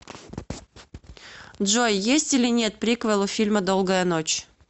джой есть или нет приквел у фильма долгая ночь